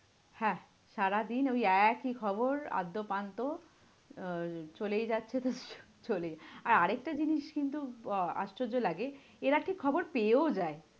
হ্যাঁ, সারাদিন ওই একই খবর আদ্যপান্তো আহ চলেই যাচ্ছে তো চলেই, আর আরেকটা জিনিস কিন্তু আহ আশ্চর্য লাগে। এরা ঠিক খবর পেয়েও যায়।